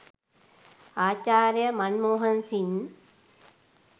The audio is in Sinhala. ආචාර්ය මන් මෝහන් සිං